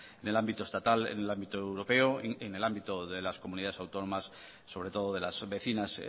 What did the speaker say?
en el ámbito estatal en el ámbito europeo en el ámbito de las comunidades autónomas sobre todo de las vecinas